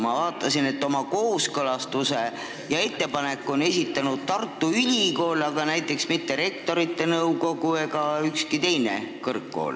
Ma vaatasin, et oma ettepaneku ja kooskõlastuse on esitanud Tartu Ülikool, aga näiteks mitte Rektorite Nõukogu ega ükski teine kõrgkool.